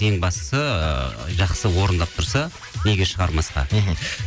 ең бастысы ыыы жақсы орындап тұрса неге шығармасқа мхм